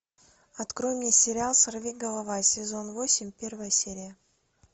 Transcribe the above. открой мне сериал сорви голова сезон восемь первая серия